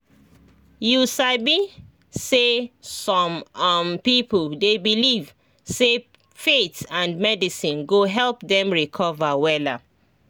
you sabi say some um people dey believe say faith and medicine go help them recover wella